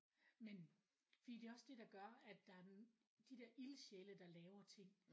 Men fordi det er også det der gør at der er de der ildsjæle der laver ting